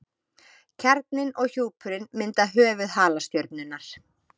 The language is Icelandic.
Kjarninn og hjúpurinn mynda höfuð halastjörnunnar.